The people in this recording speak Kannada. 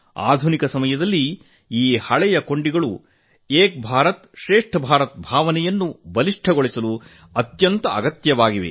ಆಧುನಿಕ ಕಾಲದಲ್ಲಿ ಸಮಾಜದಲ್ಲಿನ ಈ ಹಳೆಯ ಕೊಂಡಿಗಳು ಏಕ್ ಭಾರತಶ್ರೇಷ್ಠ್ ಭಾರತ ಭಾವನೆ ಮತ್ತಷ್ಟು ಬಲಿಷ್ಠವಾಗಿ ಅತ್ಯಂತ ಪ್ರಮುಖವಾದವುಗಳಾಗಿವೆ